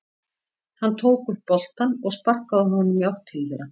Hann tók upp boltann og sparkaði honum í átt til þeirra.